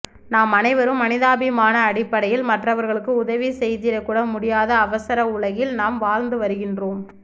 நாம் அனைவரும் மனிதாபிமானஅடிப்படையில் மற்றவர்களுக்கு உதவிசெய்திடகூட முடியாத அவசரஉலகில் நாம் வாழ்ந்துவருகின்றோம்